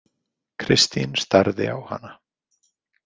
Kristín starði á hana.